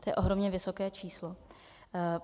To je ohromně vysoké číslo.